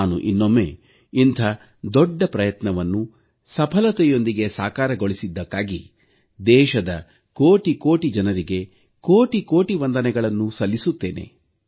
ನಾನು ಇನ್ನೊಮ್ಮೆ ಇಂಥ ದೊಡ್ಡ ಪ್ರಯತ್ನವನ್ನು ಸಫಲತೆಯೊಂದಿಗೆ ಸಾಕಾರಗೊಳಿಸಿದ್ದಕ್ಕೆ ದೇಶದ ಕೋಟಿಕೋಟಿ ಜನರಿಗೆ ಕೋಟಿಕೋಟಿ ವಂದನೆಗಳನ್ನು ಸಲ್ಲಿಸುತ್ತೇನೆ